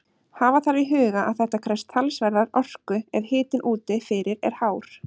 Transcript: Hafa þarf í huga að þetta krefst talsverðrar orku ef hitinn úti fyrir er hár.